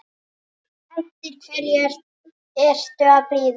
Eftir hverju ertu að bíða!